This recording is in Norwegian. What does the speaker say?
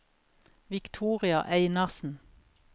Victoria Einarsen